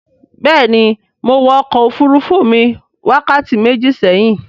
béèni Mọ wò ọkọ òfurufú mi wákàtí méjì séhìn.